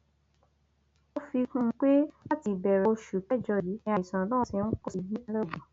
ó fi kún un pé láti ìbẹrẹ oṣù kẹjọ yìí ni àìsàn náà ti ń pọ sí i nípínlẹ ogun